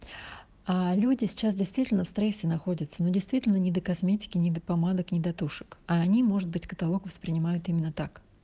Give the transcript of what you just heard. люди сейчас действительно в стрессе находятся ну действительно не до косметики не до помадок не до тушек а они может быть каталог воспринимают именно так